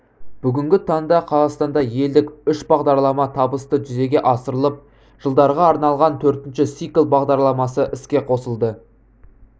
бүгінгі таңда қазақстанда елдік үш бағдарлама табысты жүзеге асырылып жылдарға арналған төртінші цикл бағдарламасы іске қосылды